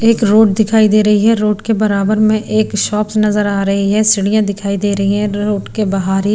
एक रोड दिखाई दे रही है रोड के बराबर में एक शॉपस् नजर आ रही है सिढ़ियां दिखाई दे रही है रोड के बाहर ही--